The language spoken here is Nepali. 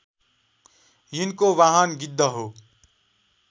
यिनको वाहन गिद्ध हो